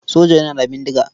Soja yana da bindiga.